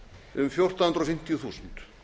um fjórtán hundruð fimmtíu þúsund